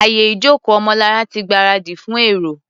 Àyè ìjókòó Ọmọlará ti gbáradì fún èrò.